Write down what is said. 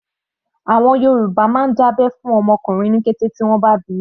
Àwọn Yorùbá máa ń dá abẹ́ fún ọmọ ọkùnrin ní kété tí wọ́n bá bíi.